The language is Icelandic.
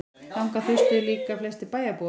Þangað þustu líka flestir bæjarbúar.